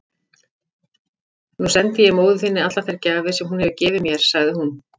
Nú sendi ég móður þinni allar þær gjafir sem hún hefur gefið mér, sagði hún.